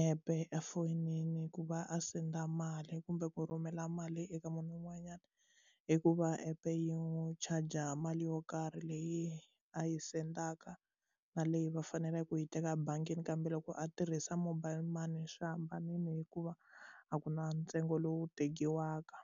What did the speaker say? app efoyinini ku va a send mali kumbe ku rhumela mali eka munhu un'wanyana i ku va app yi n'wi chaja mali yo karhi leyi a yi sendaka na leyi va faneleke ku yi teka ebangini kambe loko a tirhisa mobile money swi hambanile hikuva a ku na ntsengo lowu tekiwaka.